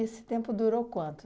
tempo durou quanto?